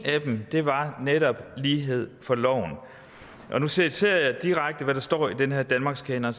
af dem var netop lighed for loven og nu citerer jeg direkte fra hvad der står i den her danmarkskanon